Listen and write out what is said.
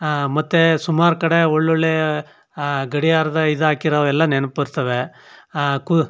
ಅಹ್ ಮತ್ತೆ ಸುಮಾರ್ ಕಡೆ ಒಳ್ ಒಳ್ಳೆ ಅಹ್ ಗಡಿಯಾರದ್ ಇದು ಹಾಕಿರೋ ಎಲ್ಲಾ ನೆನಪು ಬರ್ತ್ತವೆ ಅಹ್ ಕು --